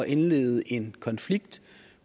indlede en konflikt